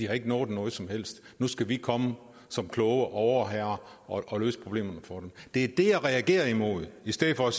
har nået noget som helst og nu skal vi komme som kloge overherrer og løse problemerne for dem det er det jeg reagerer imod i stedet for